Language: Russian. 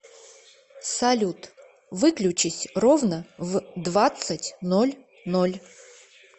салют выключись ровно в двадцать ноль ноль